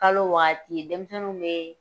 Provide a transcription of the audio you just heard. Kalo waati ye denmisɛnww bɛ